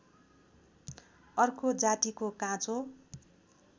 अर्को जातिको काँचो